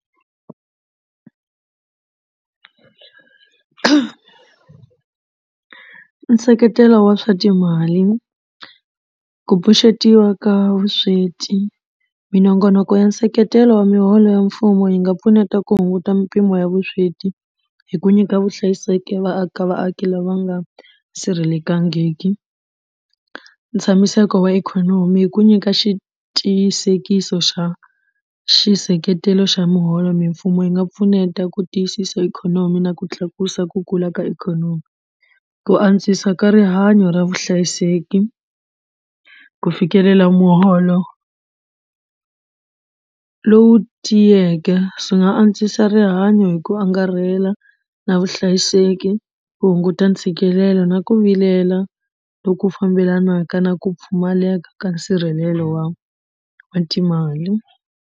Nseketelo wa swa timali ku pfuxetiwa ka vusweti minongonoko ya nseketelo wa miholo ya mfumo yi nga pfuneta ku hunguta mpimo ya vusweti hi ku nyika vuhlayiseki vaaka vaaki lava nga sirhelekangiki. Ntshamiseko wa ikhonomi i ku nyika xi tiyisisekiso xa xi nseketelo xa muholo mimfumo yi nga pfuneta ku tiyisisa ikhonomi na ku tlakusa ku kula ka ikhonomi ku antswisa ka rihanyo ra vuhlayiseki ku fikelela muholo lowu tiyeke swi nga antswisa rihanyo hi ku angarhela na vuhlayiseki ku hunguta ntshikelelo na ku vilela loku fambelanaka na ku pfumaleka ka nsirhelelo wa wa timali.